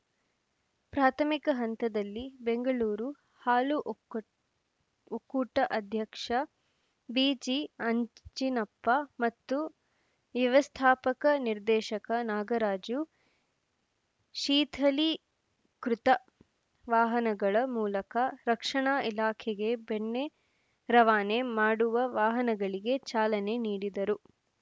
ಪ್ರಾಥಮಿಕ ಹಂತದಲ್ಲಿ ಬೆಂಗಳೂರು ಹಾಲು ಉಕ್ಕೂಟ ಅಧ್ಯಕ್ಷ ಬಿಜಿಆಂಜಿನಪ್ಪ ಮತ್ತು ವ್ಯವಸ್ಥಾಪಕ ನಿರ್ದೇಶಕ ನಾಗರಾಜು ಶೀಥಲೀಕೃತ ವಾಹನಗಳ ಮೂಲಕ ರಕ್ಷಣಾ ಇಲಾಖೆಗೆ ಬೆಣ್ಣೆ ರವಾನೆ ಮಾಡುವ ವಾಹನಗಳಿಗೆ ಚಾಲನೆ ನೀಡಿದರು